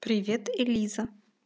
привет элиза